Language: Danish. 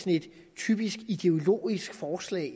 typisk ideologisk forslag